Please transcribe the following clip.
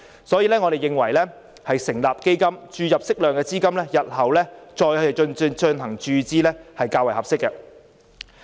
所以，我們認為政府應成立基金，注入適量資金後，日後再進行注資，是較為合適的做法。